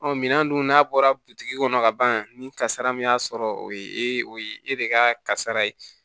minɛn dun n'a bɔra bitiki kɔnɔ ka ban ni kasara min y'a sɔrɔ o ye o ye e de ka kasara ye